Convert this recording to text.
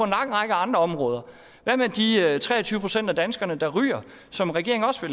lang række andre områder hvad med de tre og tyve procent af danskerne der ryger og som regeringen også